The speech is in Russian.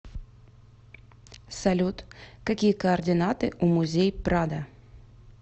салют какие координаты у музей прадо